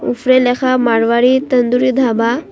উফরে লেখা মারোয়ারি তান্দুরি ধাবা।